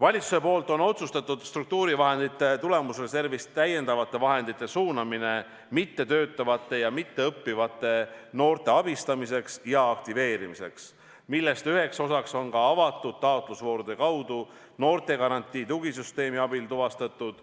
Valitsus on otsustanud struktuurivahendite tulemusreservist täiendavate vahendite suunamise mittetöötavate ja mitteõppivate noorte abistamiseks ja aktiveerimiseks, mille üheks osaks on ka avatud taotlusvoorude kaudu noortegarantii tugisüsteemi abil tuvastatud